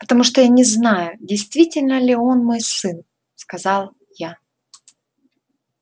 потому что я не знаю действительно ли он мой сын сказал я